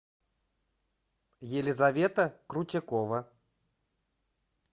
елизавета крутякова